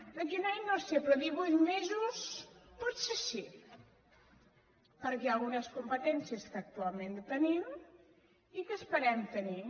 d’aquí a un any no ho sé però divuit mesos potser sí perquè hi ha algunes competències que actualment no tenim i que esperem tenir